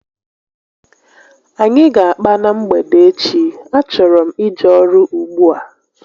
Anyị ga akpa na mgbede echi, a chọrọ m ije ọrụ ùgbúà